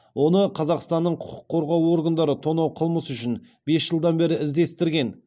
оны қазақстанның құқық қорғау органдары тонау қылмысы үшін бес жылдан бері іздестірген